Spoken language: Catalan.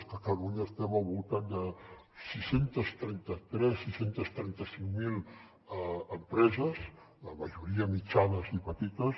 a catalunya estem al voltant de sis cents i trenta tres sis cents i trenta cinc mil empreses la majoria mitjanes i petites